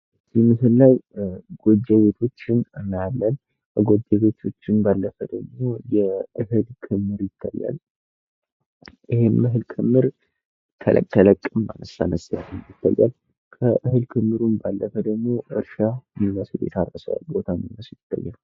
እዚህ መሰል ላይ ጎጆ ቤቶችን እናያለን። ጎጆ ቤቶችን ባለፈ ደግሞ የእህል ክምር ይታያል። ይህም እህል ክምር ተለቅ ተለቅም አነስ አነስም ያለ ይታያል። ከእህል ክምሩም ባለፈ ደግሞ እርሻ የሚመስል የታረሰ ቦታ የሚመስል ይታያል።